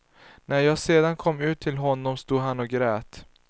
När jag sedan kom ut till honom stod han och grät.